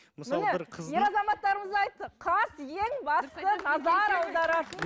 міне ер азаматтарымыз айтты қас ең басты назар аударатын